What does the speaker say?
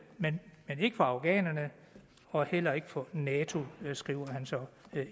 men ikke for afghanerne og heller ikke for nato skriver han så